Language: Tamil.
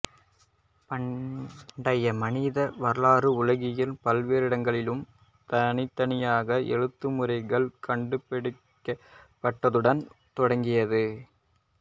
பண்டைய மனித வரலாறு உலகின் பல்வேறிடங்களிலும் தனித்தனியாக எழுத்துமுறைகள் கண்டுபிடிக்கப்பட்டதுடன் தொடங்குகிறது